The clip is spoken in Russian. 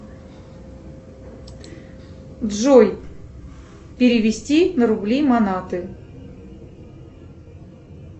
джой перевести на рубли манаты